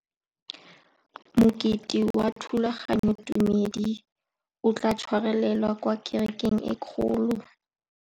Mokete wa thulaganyôtumêdi o tla tshwarelwa kwa kerekeng e kgolo.